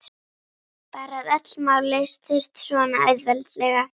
Bara að öll mál leystust svona auðveldlega.